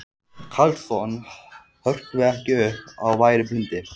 Karlsson hrökkvi ekki upp af værum blundi.